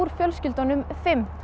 fjölskyldunum fimm